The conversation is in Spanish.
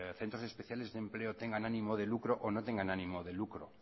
centros especiales de empleo tengan ánimo de lucro o no tengan ánimo de lucro